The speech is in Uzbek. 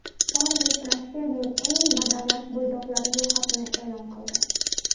Forbes Rossiyaning eng badavlat bo‘ydoqlari ro‘yxatini e’lon qildi.